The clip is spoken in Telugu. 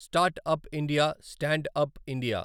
startup India, standup India